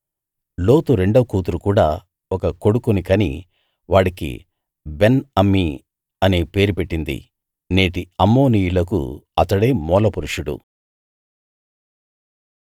లోతు రెండో కూతురు కూడా ఒక కొడుకుని కని వాడికి బెన్ అమ్మి అనే పేరు పెట్టింది నేటి అమ్మోనీయులకు అతడే మూలపురుషుడు